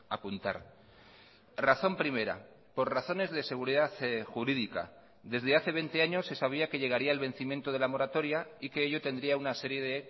apuntar razón primera por razones de seguridad jurídica desde hace veinte años se sabía que llegaría el vencimiento de la moratoria y que ello tendría una serie de